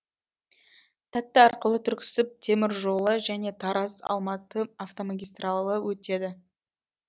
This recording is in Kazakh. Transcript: тәтті арқылы түрксіб темір жолы және тараз алматы автомагистралы өтеді